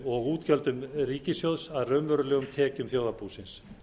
og útgjöld ríkissjóðs af raunverulegum tekjum þjóðarbúsins